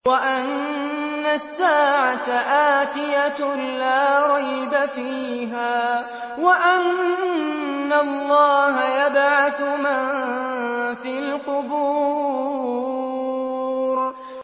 وَأَنَّ السَّاعَةَ آتِيَةٌ لَّا رَيْبَ فِيهَا وَأَنَّ اللَّهَ يَبْعَثُ مَن فِي الْقُبُورِ